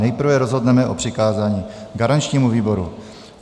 Nejprve rozhodneme o přikázání garančnímu výboru.